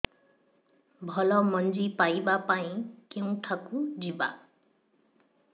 ଭଲ ମଞ୍ଜି ପାଇବା ପାଇଁ କେଉଁଠାକୁ ଯିବା